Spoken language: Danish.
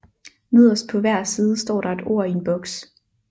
Nederst på hver side står der et ord i en boks